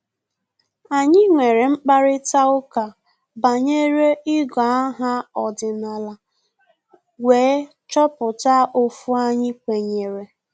Anyị nwere mkparịta ụka banyere igọ aha ọdịnala wee chọpụta ofu anyị kwenyere